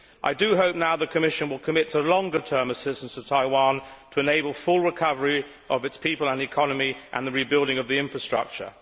I do hope now that the Commission will commit to longer term assistance to Taiwan to enable full recovery of its people and economy and the rebuilding of the infrastructure.